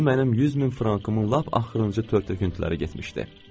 ona mənim 100 min frankımın lap axırıncı tör-töküntüləri getmişdi.